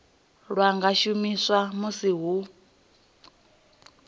lwa nga shumiswa musi hu